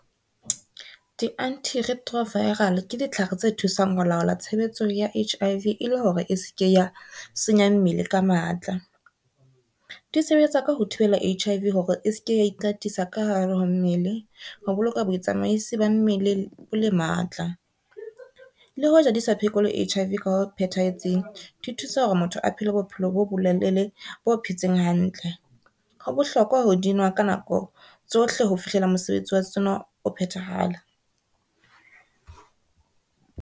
Di-antiretroviral ke ditlhare tse thusang ho laola tshebetso ya H_I_V e le hore e se ke ya senya mmele ka matla. Di sebetsa ka ho thibela H_I_V hore e se ke ya ikatisa ka hare ho mmele, ho boloka bo tsamaisi ba mmele bo le matla. Le hoja di sa phekole H_I_V ka ho phethahetseng di thusa hore motho a phele bophelo bo bolelele bo phetseng hantle. Ho bohlokwa ho dinwa ka nako tsohle ho fihlela mosebetsi wa tsona o phetahala.